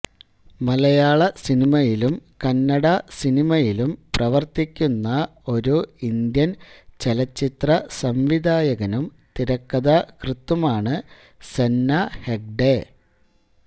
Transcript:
മലയാള സിനിമയിലും കന്നഡ സിനിമയിലും പ്രവർത്തിക്കുന്ന ഒരു ഇന്ത്യൻ ചലച്ചിത്ര സംവിധായകനും തിരക്കഥാകൃത്തുമാണ് സെന്ന ഹെഗ്ഡെ